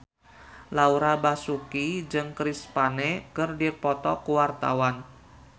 Laura Basuki jeung Chris Pane keur dipoto ku wartawan